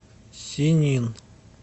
синнин